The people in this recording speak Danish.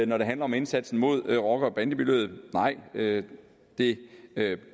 når det handler om indsatsen mod rocker bande miljøet nej det det